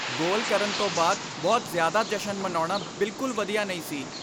ਗੋਲ ਕਰਨ ਤੋਂ ਬਾਅਦ ਬਹੁਤ ਜ਼ਿਆਦਾ ਜਸ਼ਨ ਮਨਾਉਣਾ ਬਿੱਲਕੁਲ ਵਧੀਆ ਨਹੀਂ ਸੀ।